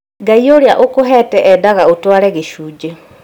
Ngai ũrĩa ũkũhete endaga ũtware gĩcunjĩ